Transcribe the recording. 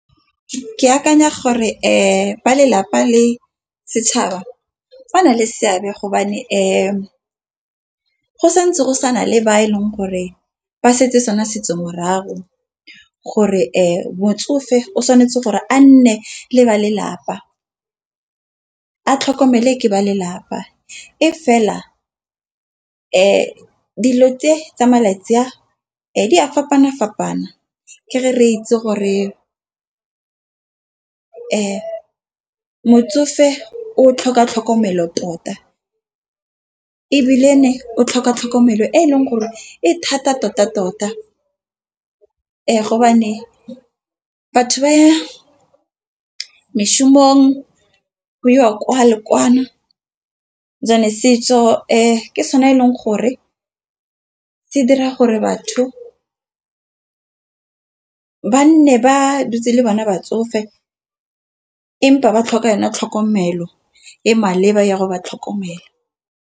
Ke akanya gore ba lelapa le setšhaba ba na le seabe go santse go sana le ba e leng gore ba setse sona setso morago gore motsofe o tshwanetse gore a nne le ba lelapa. A tlhokomelwe ke ba lelapa e fela dilo tse tsa malatsi a di a fapana fapana ke re itse gore a motsofe o tlhoka tlhokomelo tota, ebile ne o tlhoka tlhokomelo e e leng gore e thata tota-tota . Batho ba ya moshomong go iwa kwa le kwa setso ke sona eleng gore, se dira gore batho ba nne ba dutse le bona batsofe empa ba tlhoka yona tlhokomelo e maleba ya go ba tlhokomelo.